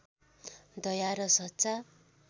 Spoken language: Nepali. दया र सच्चा